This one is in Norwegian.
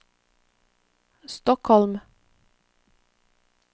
Stockholm